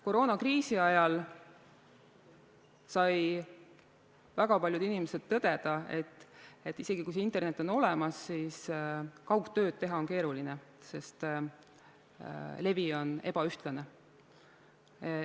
Koroonakriisi ajal pidid väga paljud inimesed tõdema, et isegi kui internet on olemas, siis kaugtööd teha on keeruline, sest levi on ebaühtlane.